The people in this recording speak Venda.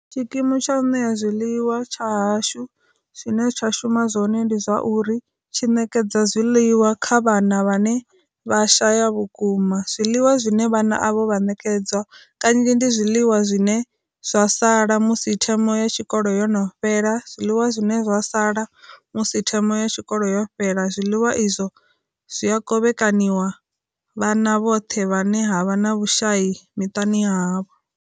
Tshikimu tsha u ṋea zwiḽiwa tsha hashu zwine tsha shuma zwone ndi zwa uri tshi ṋekedza zwiḽiwa kha vhana vhane vha shaya vhukuma, zwiḽiwa zwine vhana avho vha nekedzwa kanzhi ndi zwiḽiwa zwine zwa sala musi thimu ya tshikolo yo no fhela, zwiḽiwa zwine zwa sala musi thimu ya tshikolo yo fhela zwiḽiwa izwo zwi a kovhekanyiwa vhana vhoṱhe vhane havha na vhushayi miṱani ya havho.